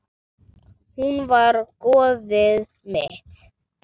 Hún var goðið mitt.